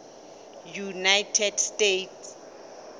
united states